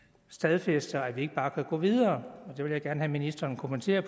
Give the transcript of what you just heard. stadfæster at vi ikke bare kan gå videre og det vil jeg gerne have at ministeren kommenterer